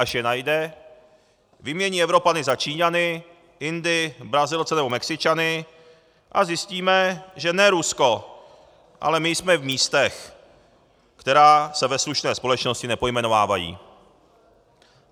Až je najde, vymění Evropany za Číňany, Indy, Brazilce nebo Mexičany a zjistíme, že ne Rusko, ale my jsme v místech, která se ve slušné společnosti nepojmenovávají.